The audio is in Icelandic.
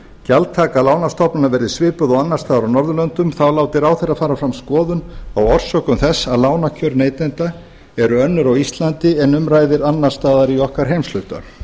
gjaldtaka lánastofnana verði svipuð og annars staðar á norðurlöndum þá láti ráðherra fara fram skoðun á orsökum þess að lánakjör neytenda eru önnur á íslandi en um ræðir annars staðar í okkar heimshluta